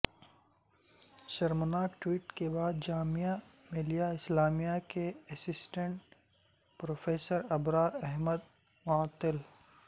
شرمناک ٹوئٹ کے بعد جامعہ ملیہ اسلامیہ کے اسسٹنٹ پروفیسر ابرار احمد معطل